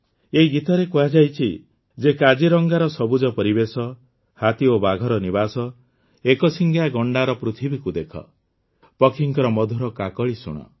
ଏହି ଗୀତରେ କୁହାଯାଇଛି ଯେ କାଜିରଙ୍ଗାର ସବୁଜ ପରିବେଶ ହାତୀ ଓ ବାଘର ନିବାସ ଏକଶିଙ୍ଗିଆ ଗଣ୍ଡାର ପୃଥିବୀକୁ ଦେଖ ପକ୍ଷୀଙ୍କ ମଧୁର କାକଳି ଶୁଣ